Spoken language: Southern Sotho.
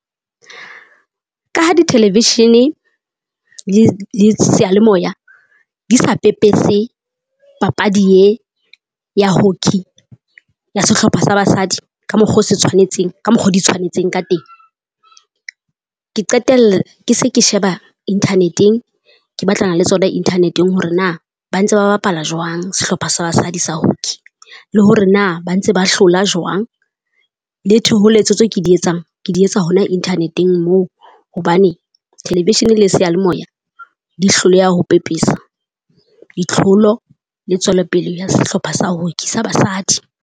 Ka ha di-television-e le seyalemoya di sa pepese papadi e ya hockey ya sehlopha sa Basadi ka mokgo o se tshwanetseng ka mokgo di tshwanetseng ka teng. Ke qetella ke se ke sheba internet-eng, ke batlana le tsona internet-eng hore na ba ntse ba bapala jwang sehlopha sa basadi sa hockey. Le hore na ba ntse ba hlola jwang, le thoholetso tseo ke di etsang ke di etsa hona internet-eng moo hobane television le sealemoea di hloleha ho pepesa ditlholo le tswelopele ya sehlopha sa hockey sa Basadi.